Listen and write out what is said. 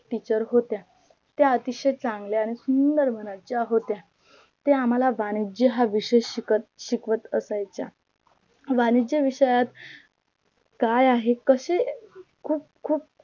teacher होत्या. त्या अतिशय चांगल्या आणी सुंदर मनाच्या होत्या ते आम्हाल वाणिज्य हा विषय शिकवत असायच्या वाणिज्य विषयात काय आहे कसे खूप